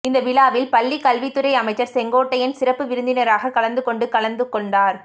இந்த விழாவில் பள்ளி கல்வித்துறை அமைச்சர் செங்கோட்டையன் சிறப்பு விருந்தினராக கலந்துகொண்டு கலந்து கொண்டார்